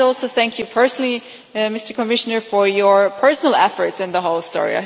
Thank you personally, Mr Commissioner, for your personal efforts in the whole story.